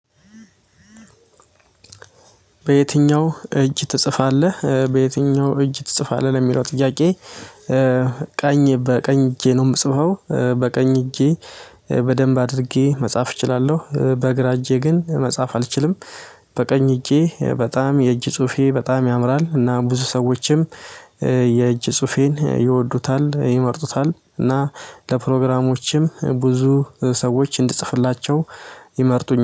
በየትኛው እጅ ትጽፋለህ በየትኛው እጅ ትጽፋለህ ለሚለው ጥያቄ? ቀኝ በቀኝ እጄ ነው የምጽፈው በቀኝ እጄ በደንብ አድርጌ መጻፍ እችላለሁ። በግራ እጄ ግን መጻፍ አልችልም። በቀኝ እጄ በጣም የእጅ ጽሁፌ በጣም ያምራል። እና ብዙ ሰዎችም የእጅ ጽሁፌን ይወዱታል ይመርጡታል እና ለፕሮግራሞችም ብዙ ሰዎች እንድጽፍላቸው ይመርጡኛል